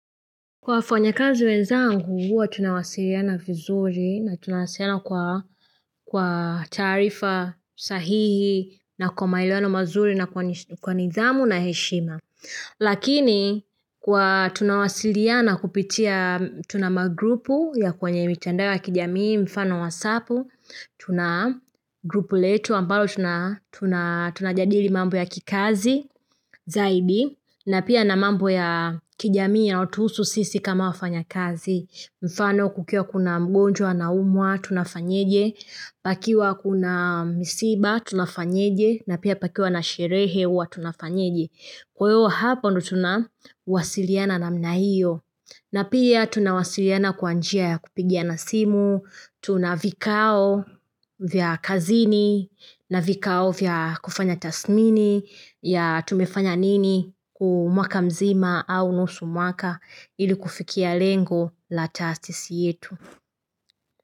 Waanyakazi wenzangu, huwa tunawasiliana vizuri na tunawasiliana kwa taarifa sahihi na kwa maelewano mazuri na kwa nidhamu na heshima. Lakini, kwa tunawasiliana kupitia tuna magrupu ya kwenye mitandao ya kijamii mfano wasapu, Tuna grupu letu ambalo tuna tunajadili mambo ya kikazi zaidi na pia na mambo ya kijamii yanayotuhusu sisi kama wafanya kazi mfano kukiwa kuna mgonjwa anaumwa tunafanyeje Pakiwa kuna misiba tunafanyeje na pia pakiwa na sherehe huwa tunafanyeje Kwahiyo hapa ndio tunawasiliana namna hiyo na pia tunawasiliana kwa njia ya kupigiana simu Tuna vikao vya kazini na vikao vya kufanya tasmini ya tumefanya nini huu mwaka mzima au nusu mwaka ili kufikia lengo la tastisi yetu.